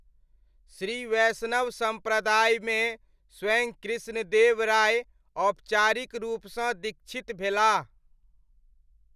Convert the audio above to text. श्री वैष्णव सम्प्रदायमे स्वयं कृष्णदेव राय औपचारिक रूपसँ दीक्षित भेलाह।